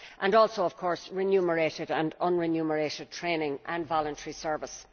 and also, of course, remunerated and unremunerated training and voluntary service.